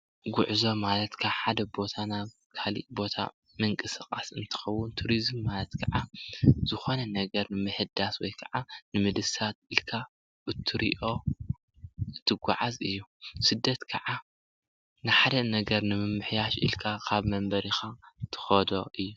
ጉዕዞ ማለት ካብ ሓደ ቦታ ናብ ካልእ ቦታ ምንቅስቃስ እንትኸውን፤ ቱሪዝም ማለት ካዓ ዝኾነ ነገር ምሕዳስ ወይካዓ ንምድሳት ኢልካ እትርኦ እትጓዓዝ እዩ፡፡ ስደት ካዓ ንሓደ ነገር ንምምሕያሽ ኢልካ ካብ መንበሪካ እትከዶ እዩ፡፡